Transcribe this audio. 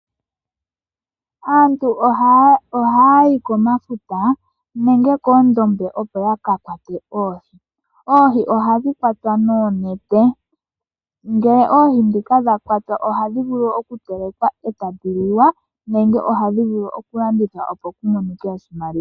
Aantu ohaya yi komafuta nenge koondombe , opo yakakwate oohi. Oohi ohadhi kwatwa noonete. Ngele oohi ndhika dha kwatwa ohadhi vulu okutelekwa etadhi liwa, nenge ohadhi vulu okulandithwa opo kumonike oshimaliwa .